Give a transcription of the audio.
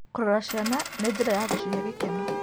Gũcirora ciana nĩ njĩra ya gũcihe gĩkeno.